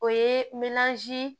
O ye